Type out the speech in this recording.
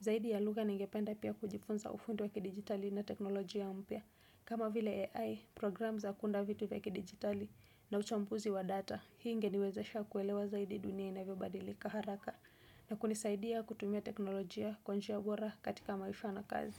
Zaidi ya lugha ningependa pia kujifunza ufundi wa kidigitali na teknolojia mpya. Kama vile AI, program za kuunda vitu vya digitali na uchambuzi wa data, hii inge niwezesha kuelewa zaidi dunia inavyo badilika haraka na kunisaidia kutumia teknolojia kwa njia bora katika maisha na kazi.